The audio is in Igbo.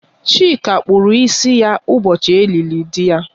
Chika kpụrụ ịsị ya ụbọchị e lili dị ya